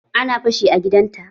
Ana fashi a gidan ta.